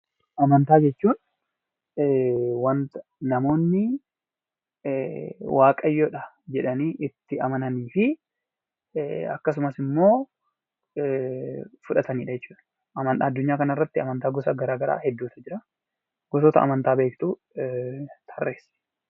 Amantaa jechuun wanta namoonni waaqayyodha jedhanii itti amananii fi akkasumas immoo fudhatanidha jechuudha. Addunyaa kanarratti amantaa gosa gara garaa hedduutu jiraa. Gosoota amantaa beektu tarreessi.